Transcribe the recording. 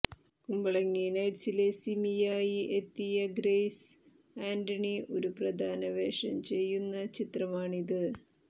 കുമ്പളങ്ങി നൈറ്റ്സിലെ സിമിയായി എത്തിയ ഗ്രെയ്സ് ആന്റണി ഒരു പ്രധാന വേഷം ചെയ്യുന്ന ചിത്രമാണിത്